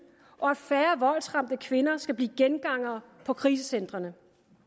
og at færre voldsramte kvinder skal blive gengangere på krisecentrene